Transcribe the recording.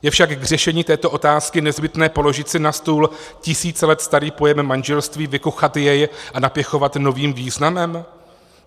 Je však k řešení této otázky nezbytné položit si na stůl tisíce let starý pojem manželství, vykuchat jej a napěchovat novým významem?